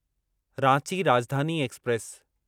Ranchi Rajdhani express